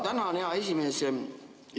Tänan, hea esimees!